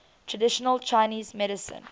traditional chinese medicine